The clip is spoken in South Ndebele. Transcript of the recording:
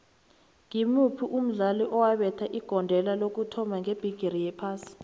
ngimuphi umdlali owabetha igondelo lokuthoma ngebhigiri yephasi